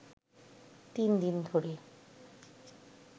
তিন দিন ধরে